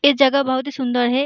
ये जगह बहोत ही सुन्दर है।